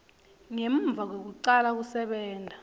ngemuva kwekucala kusebenta